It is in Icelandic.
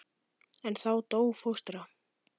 En þá dó fóstra.